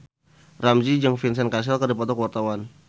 Ramzy jeung Vincent Cassel keur dipoto ku wartawan